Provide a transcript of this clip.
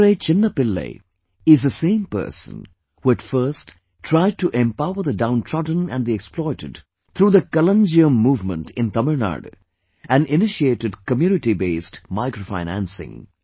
Madurai Chinna Pillai is the same person who at first tried to empower the downtrodden and the exploited through the Kalanjiyam movement in Tamil Nadu and initiated community based microfinancing